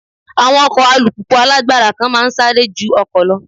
Àwọn ọkọ̀ alùpùpù alágbára kan máa ń sáré ju ọkọ̀ lọ.